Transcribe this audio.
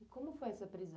E como foi essa prisão?